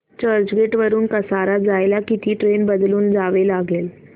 चर्चगेट वरून कसारा जायला किती ट्रेन बदलून जावे लागेल